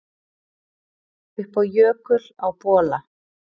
Upp á jökul á Bola